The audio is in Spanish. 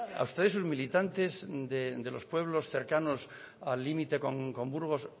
a ustedes sus militantes de los pueblos cercanos al límite con burgos